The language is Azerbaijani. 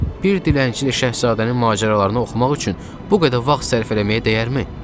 Bir dilənçi ilə şahzadənin macəralarını oxumaq üçün bu qədər vaxt sərf eləməyə dəyərmi?